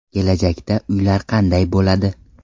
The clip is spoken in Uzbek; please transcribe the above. Kelajakda uylar qanday bo‘ladi?.